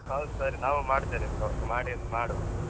ಹೌದು ಸರಿ ನಾವೂ ಮಾಡ್ತೇವೆ phone , ಮಾಡಿ ಮಾಡುವ.